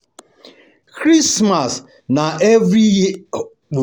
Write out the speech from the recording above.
Christmas na holiday wey Christians dey always celebrate every year